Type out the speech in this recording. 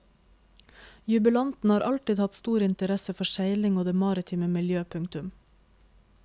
Jubilanten har alltid hatt stor interesse for seiling og det maritime miljø. punktum